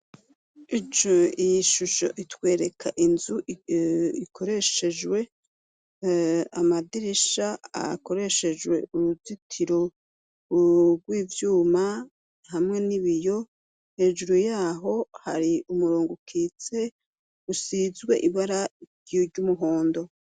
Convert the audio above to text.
Ijo iyi ishusho itwereka inzu ikoreshejwe amadirisha akoreshejwe uruzitiro rw'ivyuma hamwe n'ibiyo hejuru yaho hari umurongo ukitse usizwe ibara ryiryo umuhondo.